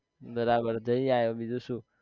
બરાબર જઈ આય બીજું શું